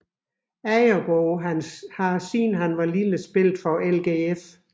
Agerbo har siden han var lille spillet for LGF